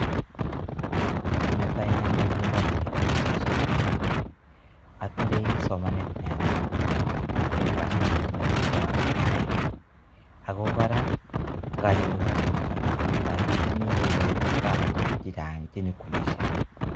Ki netai ne amwachini kampunitab isuzu ko ni atindoi somanet ne yamat eng kasit notok nemekat aai ako kora nganyoru kasit notok aakikishani kole kaamutu biik chechang che nyikoalishei.